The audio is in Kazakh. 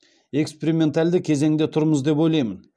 экспериментальды кезеңде тұрмыз деп ойлаймын